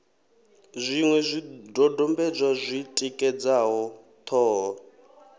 zwiṅwe zwidodombedzwa zwi tikedzaho ṱhoho